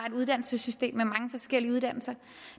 et uddannelsesystem med mange forskellige uddannelser